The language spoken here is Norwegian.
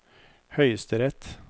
høyesterett